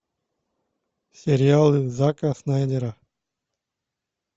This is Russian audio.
сериалы зака снайдера